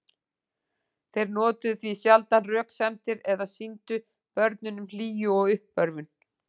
Þeir notuðu því sjaldan röksemdir eða sýndu börnunum hlýju og uppörvun.